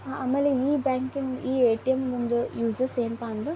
ಆಮೇಲೆ ಈ ಬ್ಯಾಂಕಿಂಗ್ ಈ ಏ.ಟಿ.ಎಂ ಯೂಸೆಸ್ ಯನಪಾ ಅಂದ್ರೆ --